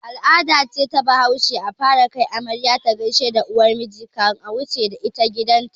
Al'ada ce ta bahaushe a fara kai amarya ta gaishe da uwargida kan a wuce da ita gidan ta